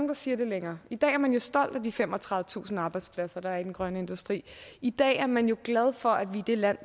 der siger det længere i dag er man stolt af de femogtredivetusind arbejdspladser der er i den grønne industri i dag er man jo glad for at vi er det land